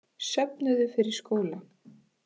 Söfnuðu fyrir skóla